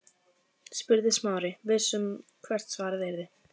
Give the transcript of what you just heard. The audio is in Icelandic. spurði Smári, viss um hvert svarið yrði.